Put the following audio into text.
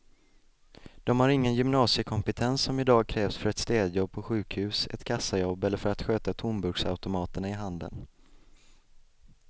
De har ingen gymnasiekompetens som i dag krävs för ett städjobb på sjukhus, ett kassajobb eller för att sköta tomburksautomaterna i handeln.